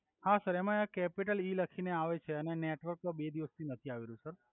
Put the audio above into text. હા સર એમા એક કેપીટલ ઈ લખીને આવે છે અને નેટવર્ક તો બે દિવસ થી નથી આવી રહ્યુ સર